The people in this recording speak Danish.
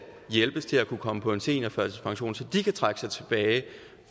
hjælpes til at kunne komme på seniorførtidspension så de kan trække sig tilbage